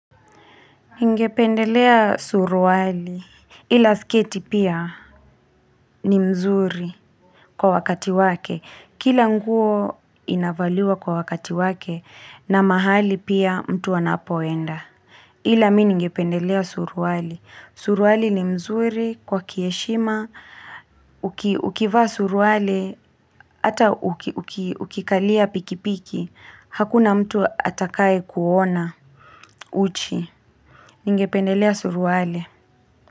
Nigependelea suruali ila sketi pia ni mzuri kwa wakati wake. Kila nguo inavaliwa kwa wakati wake na mahali pia mtu anapoenda. Ila mimi ningependelea suruali. Suruali ni mzuri kwa kiheshima. Ukivaa suruali ata ukikalia pikipiki. Hakuna mtu atakaye kuona uchi. Ningependelea suruali.